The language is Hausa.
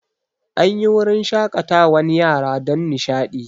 An yi wurin shaƙatawan yara don nishaɗi